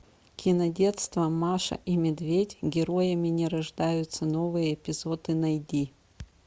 кинодетство маша и медведь героями не рождаются новые эпизоды найди